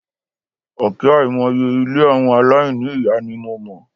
Òkè àìmọye ilé àwọn aláìní ìyá ni mo mọ̀.